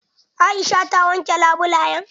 Aisha ta wanke labulayan?